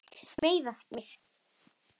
Með mig?